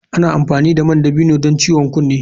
Ana amfani da man dabino don ciwon kunne.